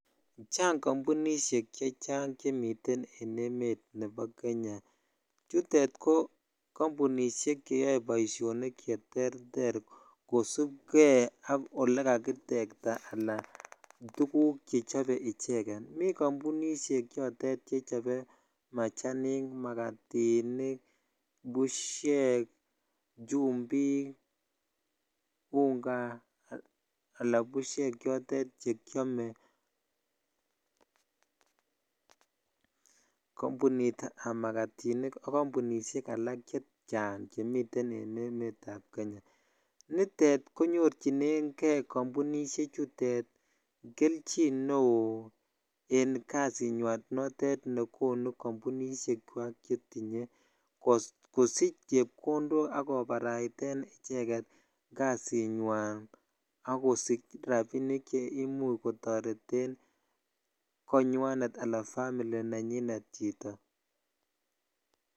Chang kombunishek chechang chemiten en emet nebo Kenya, chutet ko kombunishek cheyoe boishonik cheterterkosipkee ak olee kakitekta alaa tukuk chechobe icheket, mii kombunishek chotet chechobe machanik makatinik bushek, chumbik, unga alaa bushek chotet chekiome, kombunitab makatinik ak kombunishek alak chechang chemiten en emetab Kenya, nitet konyorchinenge kombunishe chutet kelchin neoo en kasinywan notet nekonu kombunishekwak chetinye kosich chepkondok ak kobaraiten ichekket kasinywan ak kosich rabinik cheimuch kotoreten konywanet anan family nenyinet chito.